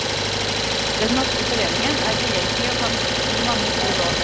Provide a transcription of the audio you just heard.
Den norske foreningen er behjelpelig og kan gi mange gode råd.